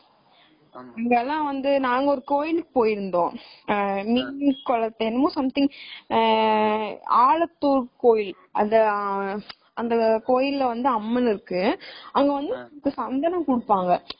அங்க எல்லாம் வந்து நாங்க ஒரு கோவிலுக்கு போயிருந்தோம் என்னமோ something ஆஹ் ஆலத்தூர் கோவில் அந்த அந்த கோவில்ல வந்து அம்மன் இருக்கு அங்க வந்து சந்தனம் குடுத்தாங்க.